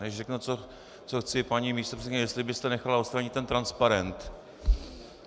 Než řeknu, co chci, paní místopředsedkyně, jestli byste nechala odstranit ten transparent.